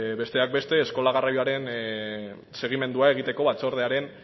besteak beste eskola garraioaren segimendua egiteko batzordearen